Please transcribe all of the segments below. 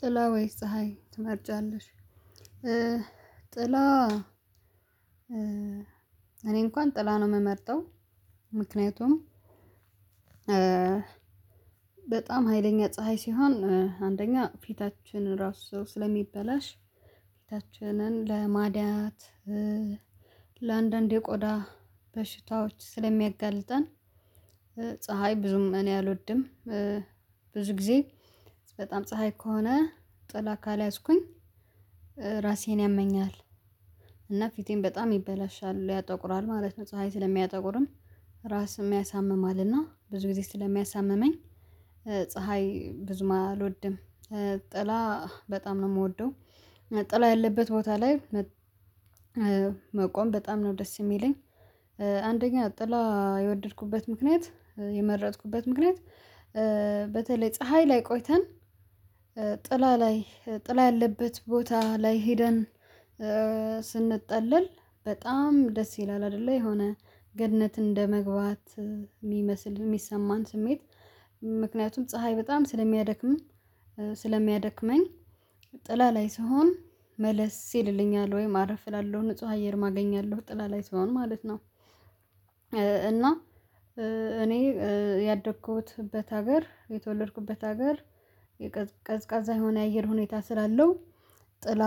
ጥላ ወይስ ፀሀይ ትመርጫለሽ? ጥላ እኔ እንኳን ጥላ ነው የምመርጠው። ምክንያቱም በጣም ሀይለኛ ፀሀይ ሲሆን አንደኛ ፊታችን ራሱ ስለሚበላሽ ፊታችንን ለማድያት ለአንዳንድ የቆዳ በሽታዎች ስለሚያጋልጠን። ፀሀይ ብዙም እኔ አልወድም። ብዙ ጊዜ በጣም ፀሀይ ከሆነ ጥላ ካልያዝኩኝ ራሴን ያመኛል። እና ፊቴን በጣም ይበላሻል ያጠቁራል ማለት ነው ፀሀይ ስለሚያጠቁርም ራስም ያሳምማል እና ብዙ ጊዜ ስለሚያሳምመኝ ፀሀይ ብዙም አልወድም። ጥላ በጣም ነው የምወደው ጥላ ያለበት ቦታ ላይ መቆም በጣም ነው ደስ የሚለኝ። አንደኛ ጥላ የወደድኩበት ምክንያት የመረጥኩበት ምክንያት በተለይ ፀሀይ ላይ ቆይተን ጥላ ላይ ጥላ ያለበት ቦታ ላይ ሄደን ስንጠለል በጣም ደስ ይላል አይደለ የሆነ ገነት እንደመግባት የሚመስል የሚሰማን ስሜት ምክንያቱም ፀሀይ በጣም ስለሚያደክም ስለሚያደክመኝ ጥላ ላይ ስሆን መለስ ይልልኛል ወይ አረፍ እላለሁ ንጹህ አየርም አገኛለሁ ጥላ ላይ ስሆን ማለት ነው። እና እኔ ያደኩትበት ሀገር የተወለድኩበት ሀገር የቀዝቃዛ የሆነ የአየር ሁኔታ ስላለው ጥላ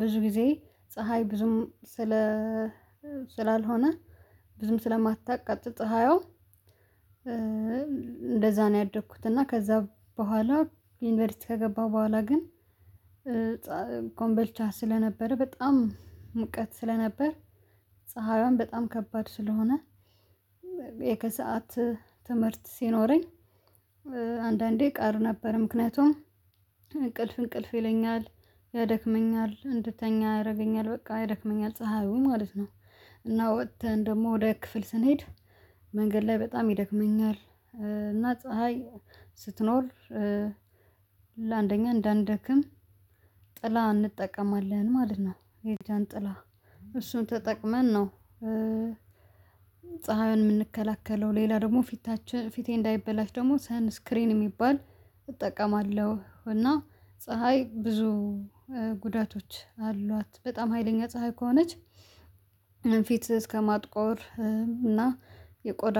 ብዙ ጊዜ ፀሀይ ብዙም ስለ ስላልሆነ ብዙም ስለማታቃጥል ፀሀያ እንደዛ ነው ያደግኩት እና ከዛ በኋላ ዩኒቨርሲቲ ከገባሁ በኋላ ግን ኮምበልቻ ስለነበረ በጣም ሙቀት ስለነበር ፀሀይዋም በጣም ከባድ ስለሆነ የከሰአት ትምህርት ሲኖረኝ አንዳንዴ ቀር ነበር ምክንያቱም እንቅልፍ እንቅልፍ ይለኛል ያደክመኛል እንድተኛ ያደርገኛል በቃ ያደክመኛል ፀሀዩ ማለት ነው። እና ወጥተን ደግሞ ወደ ክፍል ስንሄድ መንገድ ላይ በጣም ይደክመኛል እና ፀሀይ ስትኖር ለአንደኛ እንዳንደክም ጥላ እንጠቀማለን ማለት ነው የጃንጥላ እሱን ተጠቅመን ነው። ፀሀይን የምንከላከለው ሌላ ደግሞ ፊታችን ፊቴ እንዳይበላሽ ደግሞ ሳን ስክሪን የሚባል እጠቀማለሁ እና ፀሀይ ብዙ ጉዳቶች አሏት በጣም ሀይለኛ ፀሀይ ከሆነች ፊት እስከማጥቆር እና የቆዳ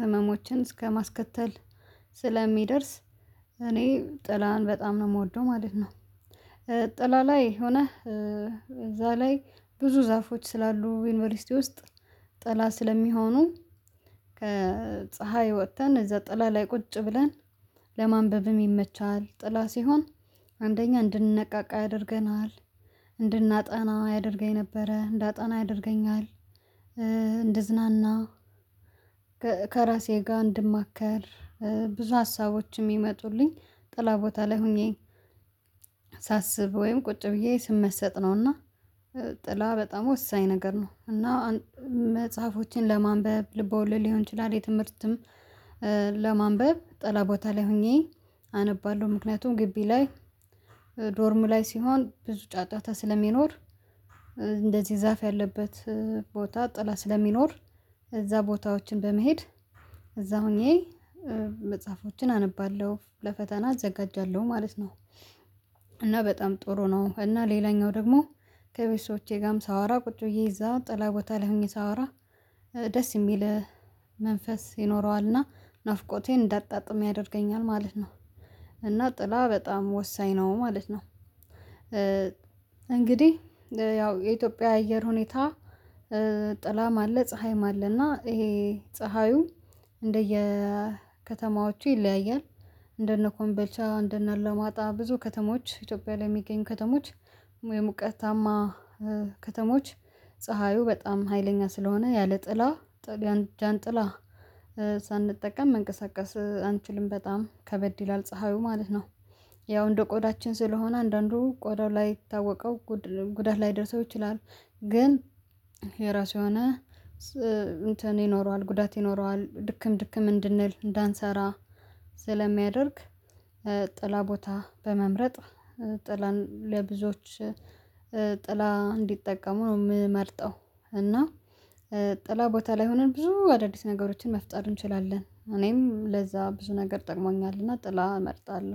ህመሞችን እስከማስከተል ስለሚደርስ እኔ ጥላን በጣም ነው የምወደው ማለት ነው። ጥላ ላይ ሆነህ እዛ ላይ ብዙ ዛፎች ስላሉ ዩንቨርስቲ ውስጥ ጠላ ስለሚሆኑ ከፀሀይ ወጥተን እዛ ጥላ ላይ ቁጭ ብለን ለማንበብም ይመቻል ጥላ ሲሆን አንደኛ እንድንነቃቃ ያደርገናል እንድናጠና ያደርገኝ ነበረ እንዳጠና ያደርገኛል። እንድዝናና ከራሴ ጋር እንድማከር ብዙ ሀሳቦች የሚመጡልኝ ጥላ ቦታ ላይ ሆኜ ሳስብ ወይም ቁጭ ብዬ ስመሰጥ ነውና ጥላ በጣም ወሳኝ ነገር ነው። እና መጽሐፎችን ለማንበብ ልብ ወልድ ሊሆን ይችላል የትምህርትም ለማንበብ ጠላ ቦታ ላይ ሆኜ አነባለሁ ምክንያቱም ግቢ ላይ ዶርም ላይ ሲሆን ብዙ ጫጫታ ስለሚኖር እንደዚህ ዛፍ ያለበት ቦታ ጥላ ስለሚኖር እዛ ቦታዎችን በመሄድ እዛ ሆኜ መጽሐፎችን አነባለሁ ለፈተና እዘጋጃለሁ ማለት ነው። እና በጣም ጥሩ ነው እና ሌላኛው ደግሞ ከቤተሰቦቼ ጋርም ሳወራ ቁጭ ብዬ እዛ ጥላ ቦታ ሆኜ ሳወራ ደስ የሚል መንፈስ ይኖረዋል እነሠ ናፍቆቴን እንዳጣጥም ያደርገኛል ማለት ነው እና ጥላ በጣም ወሳኝ ነው ማለት ነው። እንግዲህ ያው የኢትዮጵያ አየር ሁኔታ ጥላም አለ ፀሀይም አለ እና ይሄ ፀሀዩ እንደየ ከተማዎቹ ይለያያል እንደነ ኮንበልቻ እንደነ አላማጣ ብዙ ከተሞች ኢትዮጵያ ላይ የሚገኝ ከተሞች ወይም የሙቀታማ ከተሞች ፀሀዩ በጣም ሀይለኛ ስለሆነ ያለ ጥላ ጃንጥላ ሳንጠቀም መንቀሳቀስ አንችልም በጣም ከበድ ይላል ፀሀዩ ማለት ነው። ያው እንደ ቆዳችን ስለሆነ አንዳንዱ ቆዳው ላይ ታወቀው ጉዳት ላይደርሰው ይችላል ግን የራሱ የሆነ እንትን ይኖረዋል ጉዳት ይኖረዋል ድክም ድክም እንድንል እንዳንሰራ ስለሚያደርግ ጥላ ቦታ በመምረጥ ጥላ ለብዙዎች ጥላ እንዲጠቀሙ ነው የምመርጠው። እና ጥላ ቦታ ላይ ሆነን ብዙ አዳዲስ ነገሮችን መፍጠር እንችላለን እኔም ለዛ ብዙ ነገር ጠቅሞኛልና ጥላ እመርጣለሁ